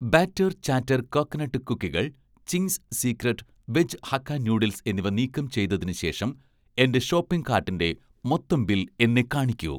batter chatter coconut കുക്കികൾ, 'Ching's secret' veg hakka noodles എന്നിവ നീക്കം ചെയ്‌തതിന് ശേഷം എന്‍റെ ഷോപ്പിംഗ് കാർട്ടിന്‍റെ മൊത്തം ബിൽ എന്നെ കാണിക്കൂ